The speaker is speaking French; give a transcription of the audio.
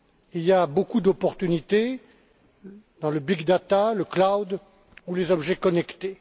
Il y a beaucoup d'opportunités dans le big data, le cloud ou les objets connectés.